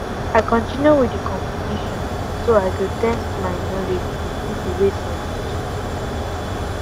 i continue with the competition so i go test my knowledge with people wey sabi too